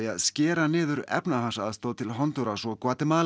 að skera niður efnahagsaðstoð til Hondúras og